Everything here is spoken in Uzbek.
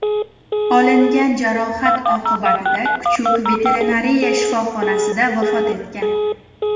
Olingan jarohat oqibatida kuchuk veterinariya shifoxonasida vafot etgan.